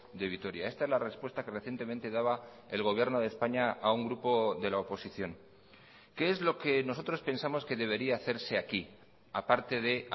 de vitoria esta es la respuesta que recientemente daba el gobierno de españa a un grupo de la oposición qué es lo que nosotros pensamos que debería hacerse aquí a parte de